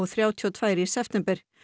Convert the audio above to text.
þrjátíu og tvö í september